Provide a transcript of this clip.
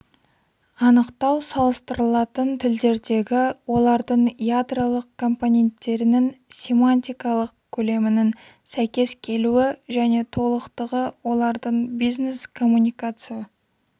анықтау салыстырылатын тілдердегі олардың ядролық компоненттерінің семантикалық көлемінің сәйкес келуі және толықтығы олардың бизнес коммуникация